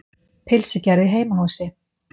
Pylsugerð í heimahúsi.